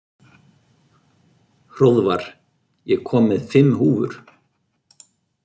Hróðvar, ég kom með fimm húfur!